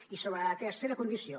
i sobre la tercera condició